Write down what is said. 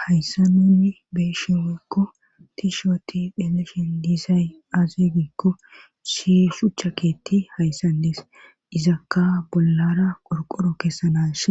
Hayssanunni beeshi woykko tishwati deleshen diisay aaze gikko she shuchakeetti hayssandees izakka bollara qorqoro kessanash